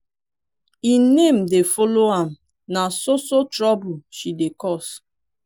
im name dey follow am na so so trouble she dey cause.